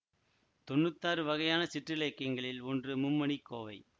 தொன்னூத்தி ஆறு வகையான சிற்றிலக்கியங்களில் ஒன்று மும்மணிக்கோவை